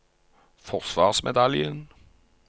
forsvarsmedaljen